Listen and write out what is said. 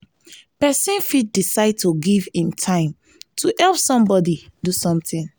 persin fit decide to give im time to help somebody do something